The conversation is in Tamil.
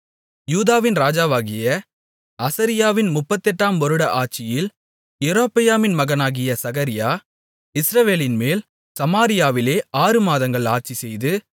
யூதாவின் ராஜாவாகிய அசரியாவின் முப்பத்தெட்டாம் வருட ஆட்சியில் யெரொபெயாமின் மகனாகிய சகரியா இஸ்ரவேலின்மேல் சமாரியாவிலே ஆறு மாதங்கள் ஆட்சிசெய்து